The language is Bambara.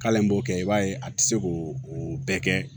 K'ale b'o kɛ i b'a ye a tɛ se k'o o bɛɛ kɛ